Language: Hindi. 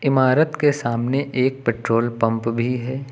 इमारत के सामने एक पेट्रोल पंप भी है।